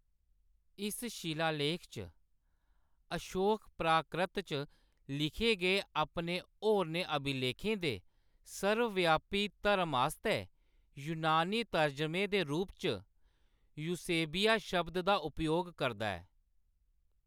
इस शिलालेख च, अशोक प्राक्रत च लिखे गे अपने होरनें अभिलेखें दे सर्वव्यापी 'धरम' आस्तै यूनानी तरजमे दे रूप च यूसेबीया शब्द दा उपयोग करदा ऐ।